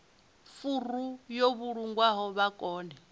furu yo vhulungwaho vha kone